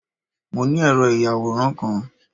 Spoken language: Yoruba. Mo ni ẹ̀rọ ìyàwòràn kan